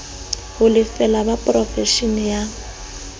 ho lefela ba porofeshene ya